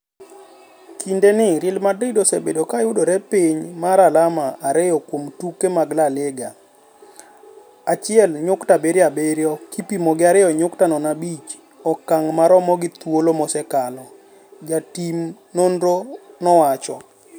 Kinde ni Real Madrid osebedo ka yudore piny mar alama ariyo kuom tuke magLa Liga (1.77) kipimo gi 2.05 okang' marom gi thuolo mosekalo," jatim nonrno no owacho.